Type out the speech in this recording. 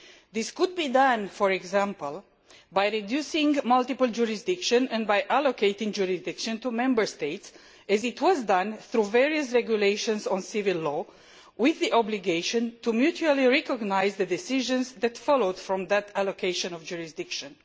This could be done, for example, by reducing multiple jurisdiction and by allocating jurisdiction to Member States, as was done through various regulations on civil law, with the obligation to mutually recognise the decisions that followed from that allocation of jurisdiction.